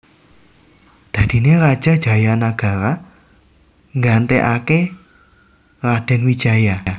Dadiné Raja Jayanagara gantéaké Radén Wijaya